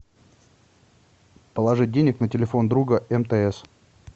положить денег на телефон друга мтс